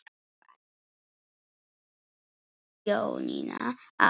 Færð sjónina aftur.